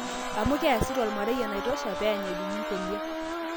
Ama, kiasita omarei enaitosha pe iany ejungi nkolia?